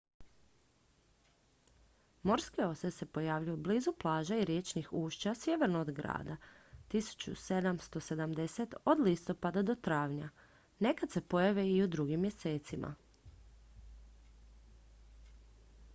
morske ose se pojavljuju blizu plaža i riječnih ušća sjeverno od grada 1770 od listopada do travnja nekad se pojave i u drugim mjesecima